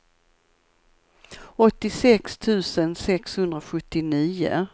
åttiosex tusen sexhundrasjuttionio